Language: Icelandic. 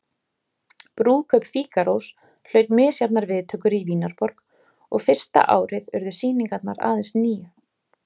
Brúðkaup Fígarós hlaut misjafnar viðtökur í Vínarborg og fyrsta árið urðu sýningar aðeins níu.